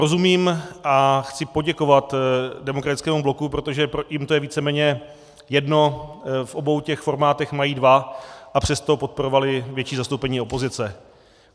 Rozumím a chci poděkovat Demokratickému bloku, protože jim je to víceméně jedno, v obou těch formátech mají dva, a přesto podporovali větší zastoupení opozice.